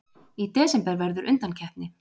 Í desember verður undankeppni.